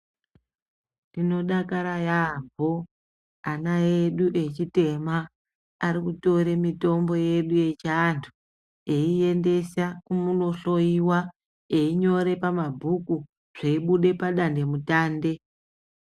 Tinodakara yaamho ana edu echitema arikutore mitombo yedu yeichiantu ,eiendesa kumunohloiwa ,einyore pamabhuku zveibuda padanhe mutande.